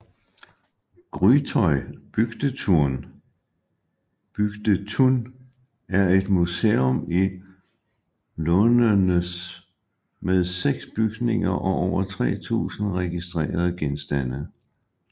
Grytøy Bygdetun er et museum i Lundenes med seks bygninger og over 3000 registrerede genstande